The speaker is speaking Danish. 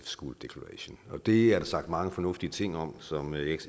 schools declaration og det er der sagt mange fornuftige ting om som jeg ikke